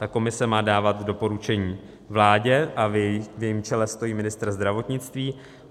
Ta komise má dávat doporučení vládě a v jejím čele stojí ministr zdravotnictví.